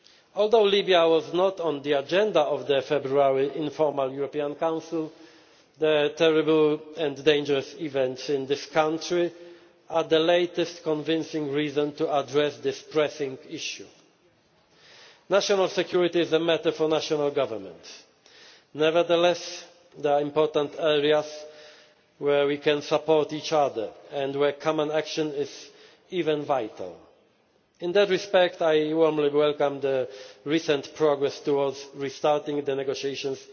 Although Libya was not on the agenda of the February informal European Council, the terrible and dangerous events in that country are the latest convincing reason to address this pressing issue. National security is a matter for national governments. Nevertheless, there are important areas where we can support each other and where common action is even vital. In that respect, I warmly welcome the recent progress towards restarting the negotiations